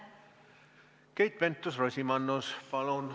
Keit Pentus-Rosimannus, palun!